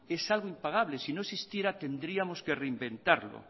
es algo impagable si no existiera tendríamos que reinventarlo